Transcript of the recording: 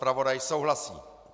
Zpravodaj souhlasí.